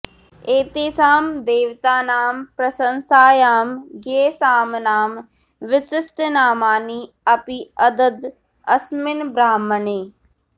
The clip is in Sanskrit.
एतेषां देवतानां प्रशंसायां गेयसाम्नां विशिष्टनामानि अपि अददद् अस्मिन् ब्राह्मणे